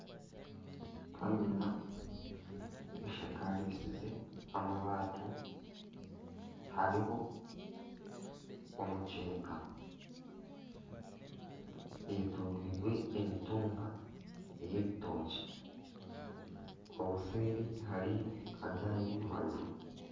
Kamina eshakarisize amabaati hariho omuceeka eyetoreirwe emitumba ey'ebitookye obuseeri hariyo agandi amaju.